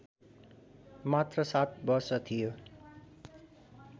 मात्र ७ वर्ष थियो